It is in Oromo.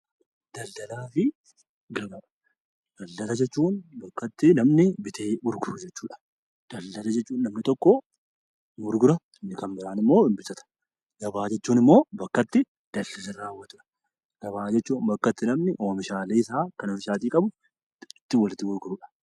Daldala jechuun bakka itti namni bitee gurguru jechuudha. Daldala jechuun namni tokko ni gurgura inni kan biraan immoo ni bitata. Gabaa jechuun immoo bakka itti daldala itti raawwatan. Gabaa jechuun oomishaalee isaa kan ofiisaatii qabu kan itti walitti gurgurudha.